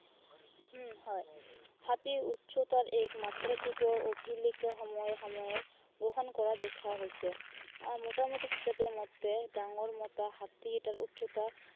উম হয়। হাতীৰ উচ্চতাৰ এক মাত্ৰাধিক অভিলেখ সময়ে সময়ে গ্ৰহণ কৰা দেখা গৈছে। আহ মিটামুটি হিচাপে মতে ডাঙৰ মতা হাতী এটাৰ উচ্চতা